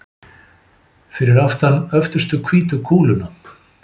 Fyrir aftan öftustu hvítu kúluna.